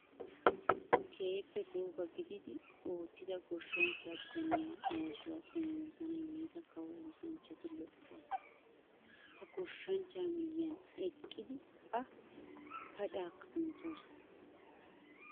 Keehippe gooba gididi oottida goshshanchcha bitaaniyaa oosuwaa xomoosana yiida kawo oosanchchati lo"o asaa. Ha goshshanchchaa miyyiyaan eqqidi A pacaakka kunttoosona.